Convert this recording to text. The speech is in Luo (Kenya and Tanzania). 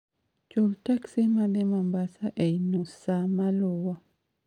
chul teksi madhi Mombasa ei nus saa maluwo